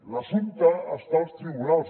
l’assumpte està als tribunals